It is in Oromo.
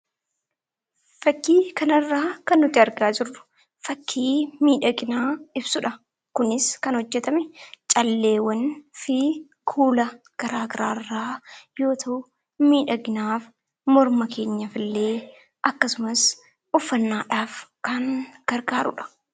Fakkii kanarraa kan nuti argaa jirru fakkii miidhagina ibsu dha. Kunis kan hojjetame calleewwan fi kuula garaagaraa irraa yoo ta'u, miidhaginaaf morma keenyaaf illee akkasumas uffannaadhaaf kan gargaaruu dha.